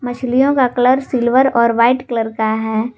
मछलियों का colour silver और वाइट कलर का है।